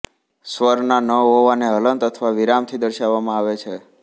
સ્વરના ન હોવાને હલન્ત અથવા વિરામથી દર્શાવવામાં આવે છે